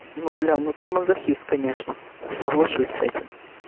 ну бля ну ты мазохист конечно соглашусь с этим